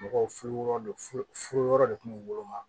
Mɔgɔw furu yɔrɔ do furu yɔrɔ de tun bɛ woloma